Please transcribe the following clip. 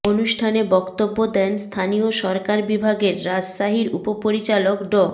অনুষ্ঠানে বক্তব্য দেন স্থানীয় সরকার বিভাগের রাজশাহীর উপপরিচালক ড